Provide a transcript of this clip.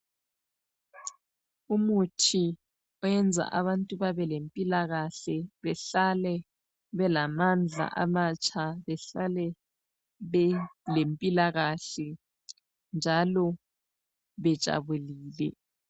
Umuthi oyenza abantu babelempilakahle behlale belamandla amatsha, behlale belempilakahle njalo bejabulile.